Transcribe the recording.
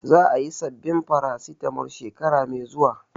Za a yi sabbin Farasitamol shekara mai zuwa